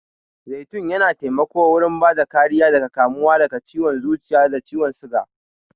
Zaitun yana taimako wurin bada kariya daga kamuwa da ciwan zuciya da ciwan suga.